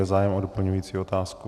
Je zájem o doplňující otázku?